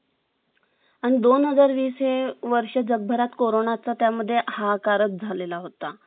आणि दोन हजार वीस हे वर्ष जगभरात कोरोनाच time मध्ये हाहाकार झालेला होता